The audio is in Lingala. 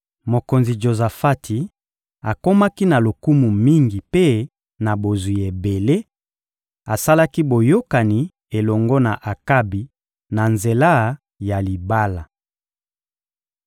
Mokonzi Jozafati akomaki na lokumu mingi mpe na bozwi ebele, asalaki boyokani elongo na Akabi na nzela ya libala.